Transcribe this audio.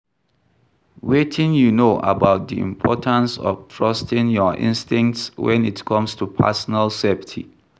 Wetin you know about di importance of trusting your instincts when it comes to personal safety?